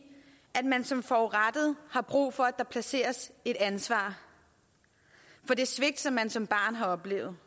at man som forurettet har brug for at der placeres et ansvar for det svigt man som barn har oplevet